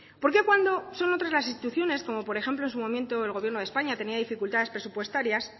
porqué cuando son otras las instituciones como por ejemplo en su momento el gobierno de españa tenía dificultades presupuestarias